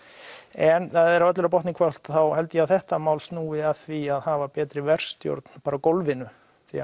en þegar öllu er á botninn hvolft held ég að þetta mál snúi að því að hafa betri verkstjórn bara á gólfinu því